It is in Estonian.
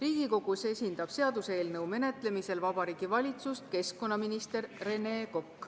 Seaduseelnõu menetlemisel Riigikogus esindab Vabariigi Valitsust keskkonnaminister Rene Kokk.